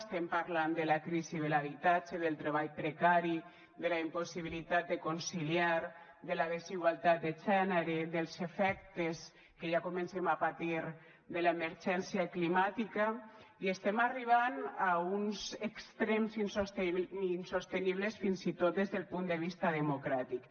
estem parlant de la crisi de l’habitatge del treball precari de la impossibilitat de conciliar de la desigualtat de gènere dels efectes que ja comencem a patir de l’emergència climàtica i estem arribant a uns extrems insostenibles fins i tot des del punt de vista democràtic